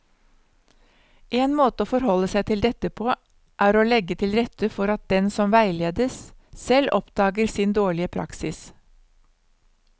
En måte å forholde seg til dette på er å legge til rette for at den som veiledes, selv oppdager sin dårlige praksis.